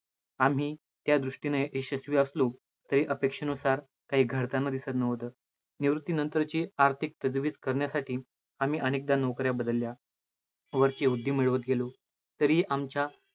आम्ही त्या दृष्टीने यशस्वी असलो, तरी अपेक्षेनुसार काही घडताना दिसतं नव्हतं. निवृत्ती नंतरची आर्थिक करण्यासाठी आम्ही अनेकदा नोकऱ्या बदलल्या, वर वृद्धी मिळवतं गेलो तरीही आमच्या